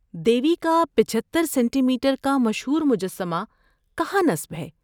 دیوی کا پچھتر centimetre کا مشہور مجسمہ کہاں نصب ہے؟